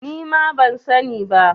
Nima ban sani ba